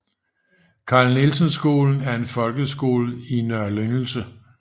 Carl Nielsen Skolen er en folkeskole i Nr